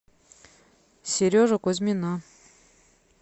сережу кузьмина